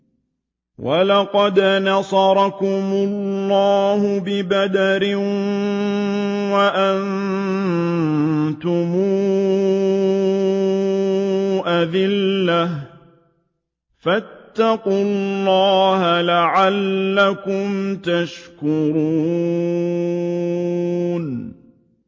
وَلَقَدْ نَصَرَكُمُ اللَّهُ بِبَدْرٍ وَأَنتُمْ أَذِلَّةٌ ۖ فَاتَّقُوا اللَّهَ لَعَلَّكُمْ تَشْكُرُونَ